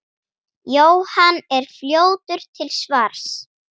Jóhann er fljótur til svars.